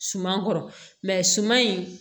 Suma kɔrɔ suman in